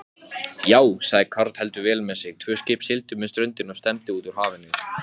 Já, sagði karl heldur vel með sig.